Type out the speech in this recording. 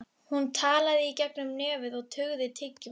Hún talaði í gegnum nefið og tuggði tyggjó.